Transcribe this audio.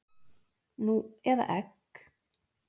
Nú eða egg?